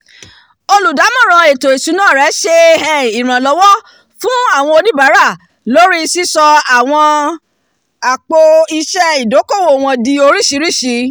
olùdámọ̀ràn ètò ìṣúná ṣe um iranlọwọ fun awọn onibaara lórí sisọ àwọn àpò-iṣẹ́ ìdókòwò wọn di oríṣiríṣi